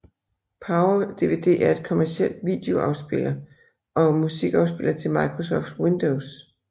PowerDVD er en kommercielt videoafspiller og musikafspiller til Microsoft Windows